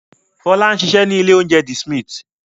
Fọlá ń ṣiṣẹ́ ní ilé-oúnjẹ The Smith.